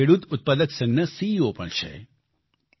તેઓ એક ખેડૂત ઉત્પાદક સંઘના સીઈઓ પણ છે